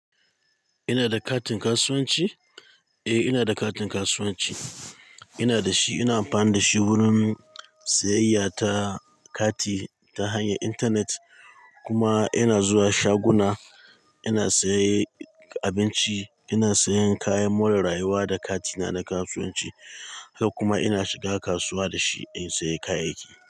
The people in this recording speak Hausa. Ina da katin kasuwanci? Eh, ina da katin kasuwanci. Ina da shi, ina amfani da shi wurin siyayya ta kati ta hanyar intanet kuma ina zuwa shaguna. Ina saye abinci, ina sayen kayan more rayuwa da katina na kasuwanci, haka kuma ina shiga kasuwa da shi in sayi kayayyaki.